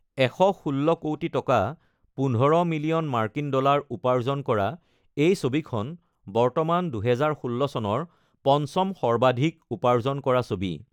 ১১৬ কৌটি টকা (১৫ মিলিয়ন মাৰ্কিন ডলাৰ) উপাৰ্জন কৰা এই ছবিখন বৰ্তমান ২০১৬ চনৰ পঞ্চম সৰ্বাধিক উপাৰ্জন কৰা ছবি।